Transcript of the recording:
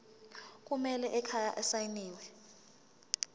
ekhaya kumele asayiniwe